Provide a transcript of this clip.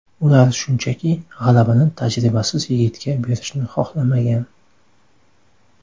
Ular shunchaki, g‘alabani tajribasiz yigitga berishni xohlamagan.